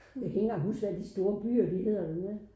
Jeg kan ikke engang huske hvad de store byer hedder længere